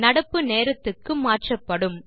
நடப்பு நேரத்துக்கு மாற்றப்படும்